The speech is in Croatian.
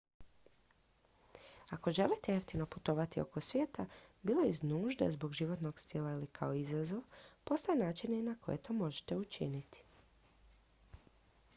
ako želite jeftino putovati oko svijeta bilo iz nužde zbog životnog stila ili kao izazov postoje načini na koje to možete učiniti